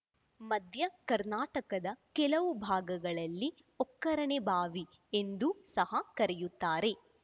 ಮಧ್ಯಕರ್ನಾಟಕದ ಕೆಲವು ಭಾಗಗಳಲ್ಲಿ ಒಕ್ಕರಣೆಬಾವಿ ಎಂದೂ ಸಹ ಕರೆಯುತ್ತಾರೆ